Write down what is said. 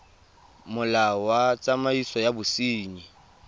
molao wa tsamaiso ya bosenyi